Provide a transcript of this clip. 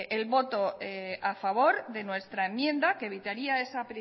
el voto a favor de nuestra enmienda que evitaría esa